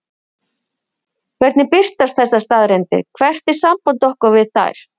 Hvernig birtast þessar staðreyndir, hvert er samband okkar við þær?